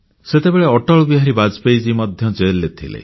ସେତେବେଳେ ଅଟଳ ବିହାରୀ ବାଜପେୟୀ ଜୀ ମଧ୍ୟ ଜେଲ୍ ରେ ଥିଲେ